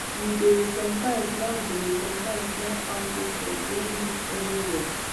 we dey sometimes snap dey sometimes snap farm pictures during these early walks